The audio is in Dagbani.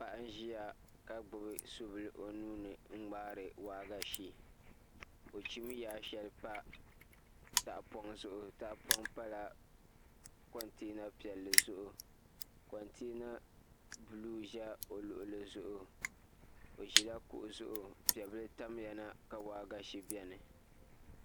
Paɣa n ʒiya ka gbubi subili o nuuni n ŋmaari waagashe o chim yaa shɛli pa tahapoŋ zuɣu tahapoŋ pala kontɛna piɛlli zuɣu kontɛna buluu ʒɛ o luɣuli zuɣu o ʒila kuɣu zuɣu piɛ bili tamya na ka waagashe bɛni